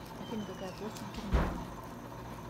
афина какая площадь германии